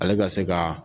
Ale ka se ka